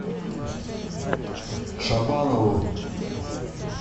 шабанову